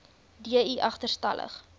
d i agterstallig